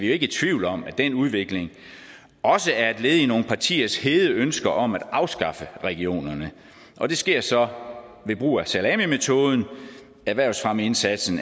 ikke i tvivl om at den udvikling også er et led i nogle partiers hede ønsker om at afskaffe regionerne og det sker så ved brug af salamimetoden erhvervsfremmeindsatsen